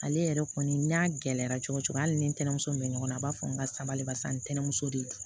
Ale yɛrɛ kɔni n'a gɛlɛyara cogo cogo hali ni ntɛnɛmuso min bɛ ɲɔgɔn na a b'a fɔ n ka sabali barisa ntɛnɛnmuso de don